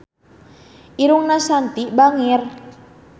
Irungna Shanti bangir